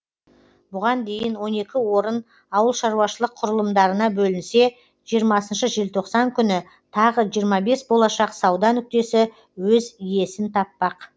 бұған дейін он екі орын ауылшаруашылық құрылымдарына бөлінсе жиырма желтоқсан күні тағы жиырма бес болашақ сауда нүктесі өз иесін таппақ